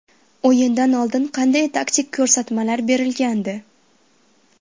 O‘yindan oldin qanday taktik ko‘rsatmalar berilgandi?